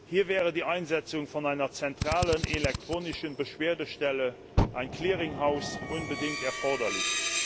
Hier wäre die Einsetzung einer zentralen elektronischen Beschwerdestelle, ein Clearing House unbedingt erforderlich.